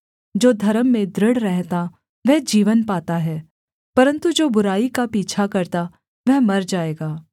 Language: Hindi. जो धर्म में दृढ़ रहता वह जीवन पाता है परन्तु जो बुराई का पीछा करता वह मर जाएगा